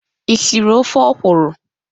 Ị siri ofe okwụrụ?